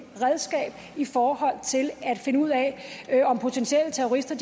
redskab i forhold til at finde ud af om potentielle terrorister